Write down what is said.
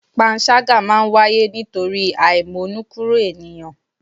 Panṣágà máa ń wáyé nítorí àímónúkúro ènìyàn